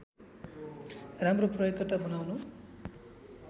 राम्रो प्रयोगकर्ता बनाउनु